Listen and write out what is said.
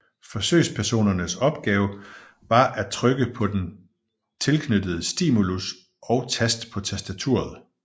Forsøgspersonernes opgave var at trykke på den tilknyttede stimulus og tast på tastaturet